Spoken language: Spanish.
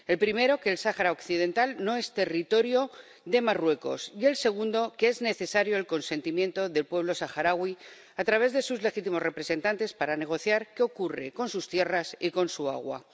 El primero, que el Sáhara Occidental no es territorio de Marruecos, y el segundo, que es necesario el consentimiento del pueblo saharaui, a través de sus legítimos representantes, para negociar qué ocurre con sus tierras y con su agua.